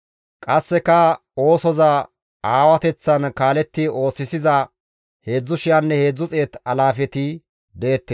Qasseka oosoza aawateththan kaaletti oosisiza 33,000 alaafeti deettes.